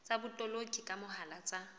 tsa botoloki ka mohala tsa